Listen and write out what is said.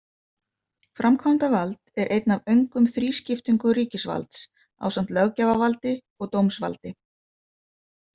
Framkvæmdavald er einn af öngum þrískiptingu ríkisvalds, ásamt löggjafarvaldi og dómsvaldi.